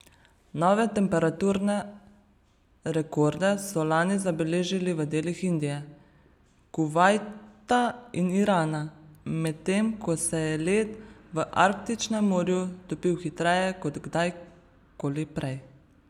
Nove temperaturne rekorde so lani zabeležili v delih Indije, Kuvajta in Irana, medtem ko se je led v Arktičnem morju topil hitreje kot kdajkoli prej.